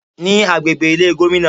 Ní agbègbè Ilé Gómìnà